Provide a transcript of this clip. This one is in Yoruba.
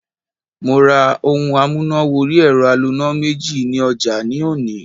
Mo ra ohun amúnà wọrí ẹ̀rọ aloná méjì ní ọjà ní òní.